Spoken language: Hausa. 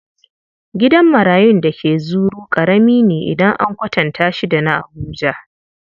Gidan marayun da ke Zuru ƙarami ne idan an kwatanta da shi na Abuja.